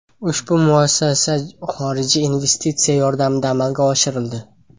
Ushbu muassasa xorijiy investitsiya yordamida amalga oshirildi.